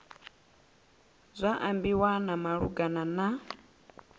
zwa ambiwa zwa malugana na